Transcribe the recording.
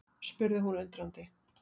spurði hún undrandi.